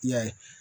I y'a ye